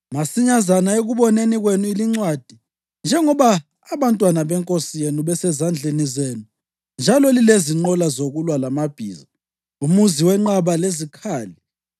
“Masinyazana ekuboneni kwenu lincwadi, njengoba abantwana benkosi yenu besezandleni zenu njalo lilezinqola zokulwa lamabhiza, umuzi wenqaba lezikhali,